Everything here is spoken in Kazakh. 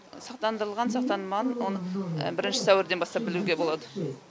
сақтандырылған сақтандырылмаған оны бірінші сәуірден бастап білуге болады